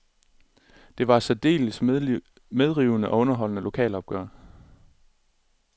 Det var et særdeles medrivende og underholdende lokalopgør.